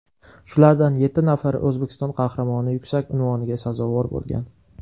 Shulardan yetti nafari O‘zbekiston Qahramoni yuksak unvoniga sazovor bo‘lgan.